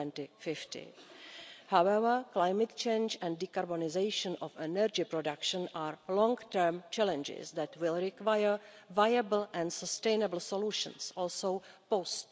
2050. However, climate change and decarbonisation of energy production are long term challenges that will require viable and sustainable solutions, also post